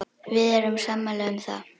Við erum sammála um það.